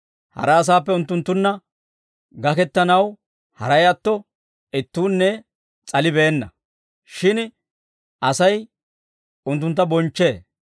Hara asaappe unttunttunna gakettanaw haray atto ittuunne s'alibeenna; shin Asay unttuntta bonchchee.